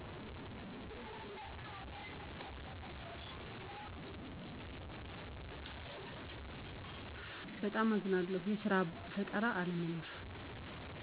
በጣም አዝናለሁ። የስራ ፈጠራ አለመኖር